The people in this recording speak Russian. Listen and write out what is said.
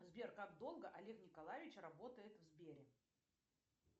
сбер как долго олег николаевич работает в сбере